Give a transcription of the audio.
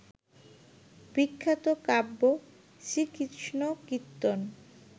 বিখ্যাত কাব্য শ্রীকৃষ্ণকীর্তন